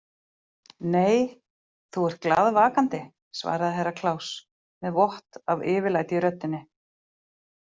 Nei, þú ert glaðvakandi, svaraði Herra Kláus með vott af yfirlæti í röddinni.